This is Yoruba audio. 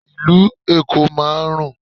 Ìlú Èkó máa ń rùn.